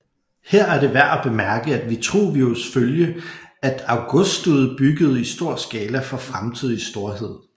Her er det værd at bemærke at Vitruvius følge at Augustud byggede i stor skala for fremtidig storhed